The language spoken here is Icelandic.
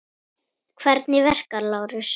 Hvernig verka, Lárus?